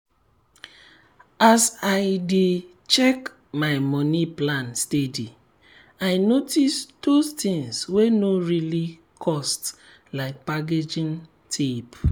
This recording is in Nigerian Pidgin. as i dey check my money plan steady i notice those tins wey no really cost like packaging tape.